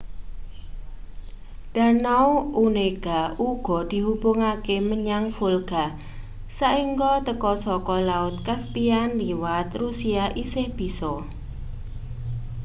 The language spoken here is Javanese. danau onega uga dihubungake menyang volga saengga teka saka laut caspian liwat rusia isih bisa